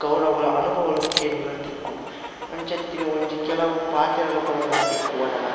ಕೌರವರ ಅನುಭವಲು ಕೇನುನ ತಿಕ್ಕುಂಡು ಅಂಚತ್ತಿನ ಒಂಜಿ ಕೆಲವು ಪಾತೆರಲು ಮೂಲು ತಿಕ್ಕುವ ನಮಕ್--